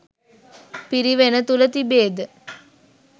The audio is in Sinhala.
පිරිවෙන තුළ තිබේද?